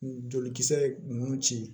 Jolikisɛ ye nun ci